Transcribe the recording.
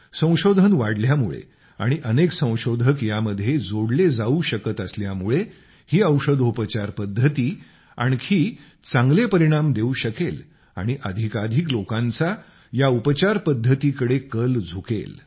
संशोधन वाढल्यामुळे आणि अनेक संशोधक यामध्ये जोडले जावू शकत असल्यामुळे ही औषधोपचार पद्धती आणखी चांगले परिणाम देवू शकेल आणि अधिकाधिक लोकांचा या उपचार पद्धतीकडे कल झुकेल